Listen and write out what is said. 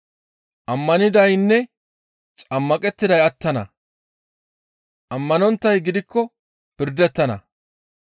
Ammanidaynne xammaqettiday attana. Ammanonttay gidikko pirdettana.